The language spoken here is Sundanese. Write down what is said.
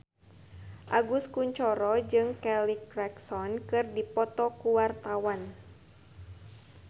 Agus Kuncoro jeung Kelly Clarkson keur dipoto ku wartawan